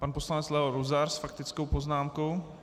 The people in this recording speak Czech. Pan poslanec Leo Luzar s faktickou poznámkou.